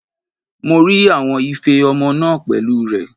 Mo rí àwọn ife ọmọ náà pẹ̀lú rẹ̀.